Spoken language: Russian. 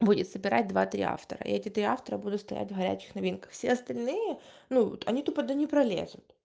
будет собирать два три автора эти три автора буду стоять горячих новинках все остальные ну вот они тупо туда не пролезут